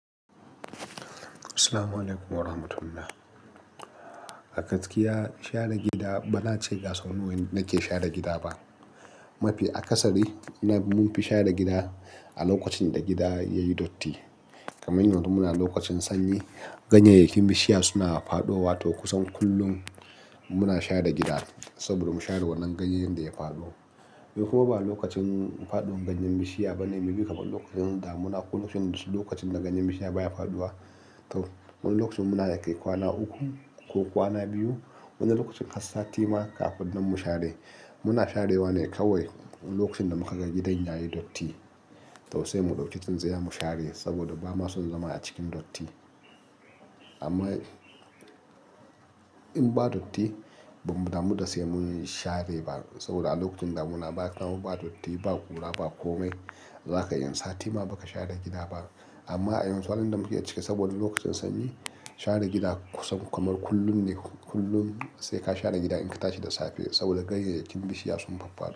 Assalamu alaikum wa rahmatullah. A gaskiya share gida bana ce ga sau nawa nake share gida ba. Mafi akasari mun fi share gida a lokacin da gida yayi datti. Kaman yanzu muna lokacin sanyi, ganyeyyakin bishiya suna fadowa to kusan kullum muna share gida saboda mu share wannan ganyen da ya fado. Kuma ba lokacin fadon ganyen bishiya bane, me ke kaɓa lokacin da muna kullum lokacin da ganyen bishiya baya fadowa. To, wani lokacin muna kai kwana uku ko kwana biyu, wani lokacin kasa sati ma kafin nan mu share. Muna share wane kawai lokacin da muka ga gidan yayi datti. To sai mu dauki tsintsaiya mu share saboda ba ma son zama a cikin datti. Amma in ba datti, ba mu damu da sai mun share ba saboda a lokacin da muna ba kwano, ba datti, ba kula, ba komai, zaka yi sati ma baka share gida ba. Amma a yanzu, alhamdu lillahi cika saboda lokacin sanyi share gida kusan kamar kullum ne. Kullum sai ka share gida in ka tashi da safe saboda ganyeyyakin bishiya sun falfado.